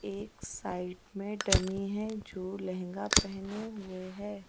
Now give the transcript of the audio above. एक साइड में डमी है जो लहंगा पहनने हुए है--